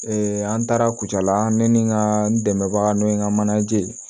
an taara kucala ne ni n ka n dɛmɛbaga n'o ye n ka manaje ye